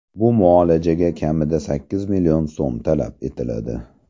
Bu muolajaga kamida sakkiz million so‘m talab etiladi.